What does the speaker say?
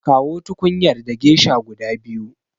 Kawo tukunyar da gesha guda biyu.